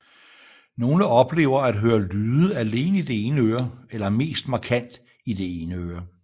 Nogle oplever at høre lyden alene i det ene øre eller mest markant i det ene øre